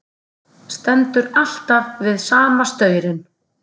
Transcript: Stendur alltaf við sama staurinn.